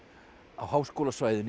á háskólasvæðinu á